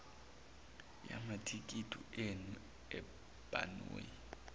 yamathikithi enu ebhanoyi